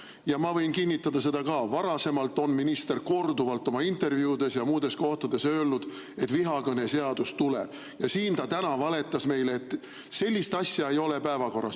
Ja ma võin kinnitada seda, et ka varasemalt on minister korduvalt oma intervjuudes ja muudes kohtades öelnud, et vihakõneseadus tuleb, ja siin ta täna valetas meile, et sellist asja ei ole päevakorral.